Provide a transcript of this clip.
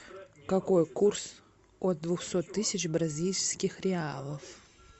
какой курс от двухсот тысяч бразильских реалов